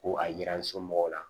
Ko a yira n somɔgɔw la